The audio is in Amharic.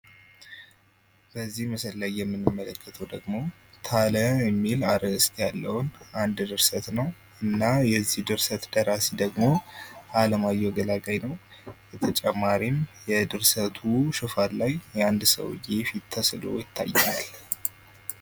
በዚህ ምስል ላይ የምንመለከተው ደግሞ ታለ የሚል አርእስት ያለውን አንድ ድርሰት ነው። የዚህ ድርሰት ደራሲ ደግሞ አለማየሁ ገላጋይ ነው። በተጨማሪም የድርሰቱ ሽፋን ላይ አንድ ሰውየ ፊት ተስሎ ይታያል።